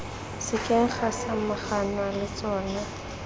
sekeng ga samaganwa le tsona